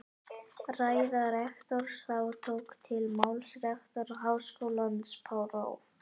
Ræða rektors Þá tók til máls rektor Háskólans próf.